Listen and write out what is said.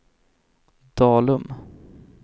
Dalum